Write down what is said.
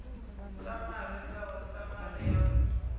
samari ngao samari yanu i